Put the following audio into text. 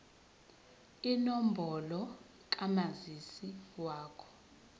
inombolo kamazisi wakho